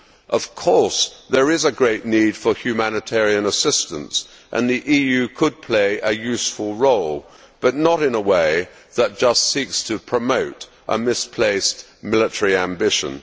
Of course there is a great need for humanitarian assistance and the EU could play a useful role, but not in a way that merely seeks to promote a misplaced military ambition.